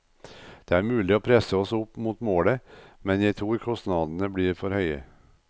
Det er mulig å presse oss opp mot det målet, men jeg tror kostnadene blir for høye.